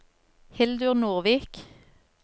Hildur Nordvik